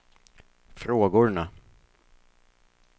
frågorna